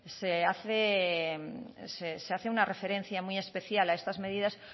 se hace una referencia muy especial a estas medidas